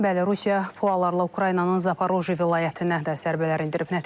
Bəli, Rusiya raketlərlə Ukraynanın Zaporojye vilayətinə dörd zərbə endirib.